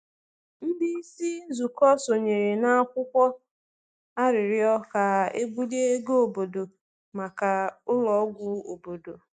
Ndị isi nzụkọ sonyere na akwụkwọ arịrịọ ka e bulie ego obodo maka ụlọ ọgwụ obodo.